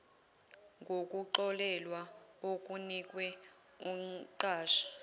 ngokuxolelwa okunikwe umqashi